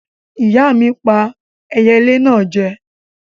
Ìyá mi pà eyelé náà jẹ.